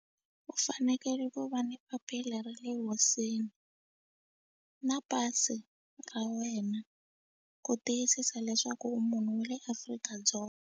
U anekele ku va ni papila ra le hosini na pasi ra wena ku tiyisisa leswaku u munhu wa le Afrika-Dzonga.